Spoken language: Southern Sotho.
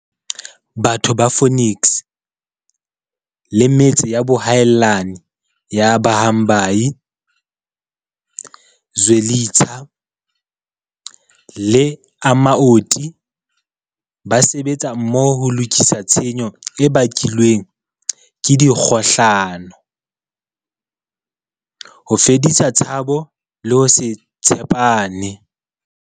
Batho ba Phoenix le metse ya boahelani ya Bhambayi, Zwe litsha le Amaoti ba sebetsa mmoho ho lokisa tshenyo e bakilweng ke dikgohlano, ho fedisa tshabo le ho se tshe pane.